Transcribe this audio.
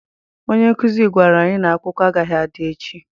Onye nkụzi gwara anyị na akwụkwọ agaghị adị echi.